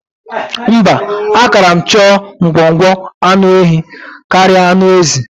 Mba, ákàrà m chọọ ngwọngwọ anụ nwaehi karịa anụ ezi.